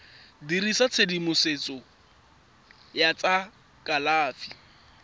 dirisa tshedimosetso ya tsa kalafi